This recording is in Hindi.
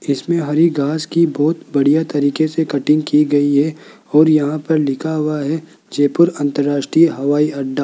इसमें हरी घास की बहुत बढ़िया तरीके से कटिंग की गई है और यहां पर लिखा हुआ है जयपुर अंतरराष्ट्रीय हवाईअड्डा।